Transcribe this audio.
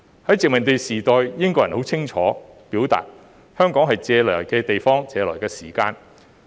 在殖民地時代，英國人很清楚表明，香港是借來的地方，當時是借來的時間。